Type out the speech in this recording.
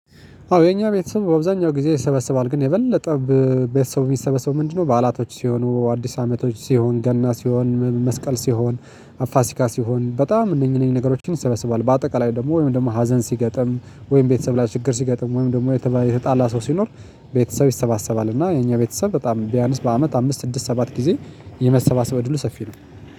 አዎ የኛ ቤተሰብ በአብዛኛው ጊዜ ይሰበስባል ግን የበለጠ ቤተሰብ እሚሰበሰብው ምንድነው ነው? ባአላቶች ሲሆኑ አዲስ አመቶች ሲሆን ገና ሲሆን መስቀል ሲሆን ፋሲካ ሲሆን በጣም እነኝ እነኝ ነገሮችን ይሰበስባል። በአጠቃላይ ደግሞ ወይም ደግሞ ሀዘን ሲገጥም ወይም ቤተሰብ ላይ ችግር ሲገጥም ወይም ደግሞ የተጣላ ሰው ሲኖር ቤተሰብ ይሰባሰባል። እና የእኛ ቤተሰብ በጣም ቢያንስ በአመት አምስት ስድስት ሰባት ጊዜ የመሰባሰብ እድሉ ሰፊ ነው